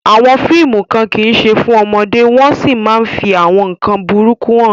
Àwọn fíìmù kan kì í ṣe fún ọmọdé wọ́n sì máa ń fi àwọn nkan burúkú hàn.